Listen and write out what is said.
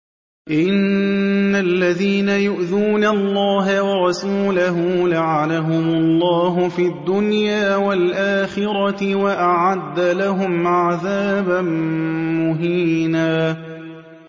إِنَّ الَّذِينَ يُؤْذُونَ اللَّهَ وَرَسُولَهُ لَعَنَهُمُ اللَّهُ فِي الدُّنْيَا وَالْآخِرَةِ وَأَعَدَّ لَهُمْ عَذَابًا مُّهِينًا